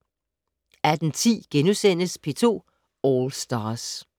18:10: P2 All Stars *